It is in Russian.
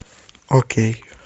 окей